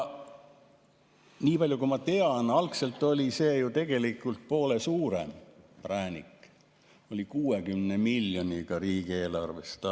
Nii palju, kui ma tean, oli see algselt ju tegelikult poole suurem präänik, 60 miljonit riigieelarvest.